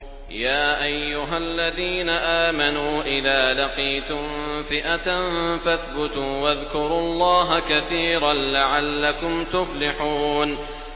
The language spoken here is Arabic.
يَا أَيُّهَا الَّذِينَ آمَنُوا إِذَا لَقِيتُمْ فِئَةً فَاثْبُتُوا وَاذْكُرُوا اللَّهَ كَثِيرًا لَّعَلَّكُمْ تُفْلِحُونَ